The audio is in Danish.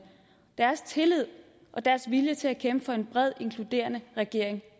tillid og deres vilje til at kæmpe for en bred inkluderende regering